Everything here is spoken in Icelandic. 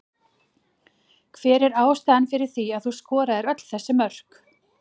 Hver er ástæðan fyrir því að þú skoraðir öll þessi mörk?